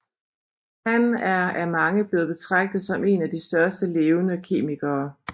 Han er af mange blevet betragtet som en af de største levende kemikere